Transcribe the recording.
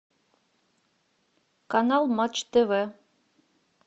канал матч тв